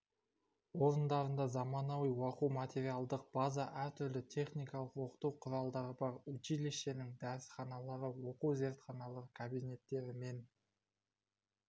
орындарында заманауи оқу-материалдық база әртүрлі техникалық оқыту құралдары бар училищенің дәрісханалары оқу зертханалары кабинеттері мен